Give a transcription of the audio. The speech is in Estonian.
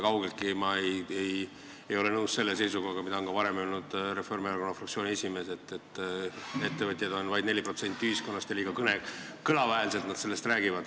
Kaugeltki ei ole ma nõus selle seisukohaga, mida on ka varem öelnud Reformierakonna fraktsiooni esimees, et ettevõtjaid on vaid 4% ühiskonnast ja nad räägivad liiga kõlava häälega.